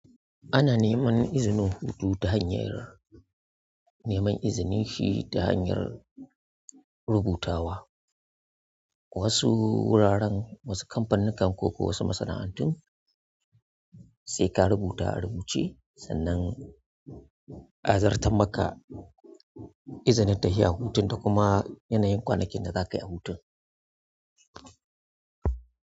Ana neman izinin hutu ta hanyar neman izini shi ta hanyar rubutawa. Wasu wuraren, wasu kamfanin kan ko wasu masana'antun sai ka rubuta a rubuce sannan a zartar maka izinin ta yi a hutun da kuma yanayin kwanakin da za ka yi a hutun.